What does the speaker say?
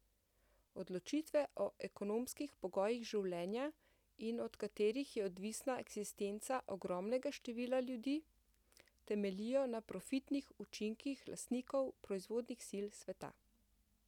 Odločitve o ekonomskih pogojih življenja, in od katerih je odvisna eksistenca ogromnega števila ljudi, temeljijo na profitnih učinkih lastnikov proizvodnih sil sveta.